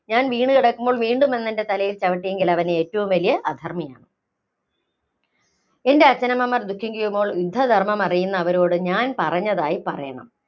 ഞാന്‍ വീണ് കിടക്കുമ്പോള്‍ വീണ്ടും വന്നെന്‍റെ തലയില്‍ ചവിട്ടിയെങ്കില്‍ അവന്‍ ഏറ്റവും വലിയ അധര്‍മ്മിയാണ്. എന്‍റെ അച്ഛനമ്മമാര്‍ ദുഖിക്കുമ്പോള്‍ യുദ്ധധര്‍മ്മം അറിയുന്ന അവരോടു ഞാന്‍ പറഞ്ഞതായി പറയണം.